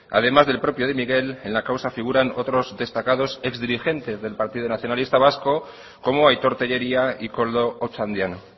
además del propio de miguel en la causa figuran otros destacados ex dirigentes del partido nacionalista vasco como aitor tellería y koldo ochandiano